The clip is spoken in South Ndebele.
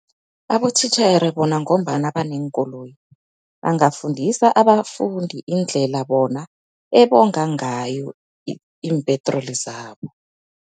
Abothitjhere bona ngombana baneenkoloyi bangafundisa abafundi indlela bona ebonga ngayo iimpetroli zabo.